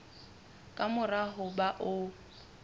ka mora ho ba o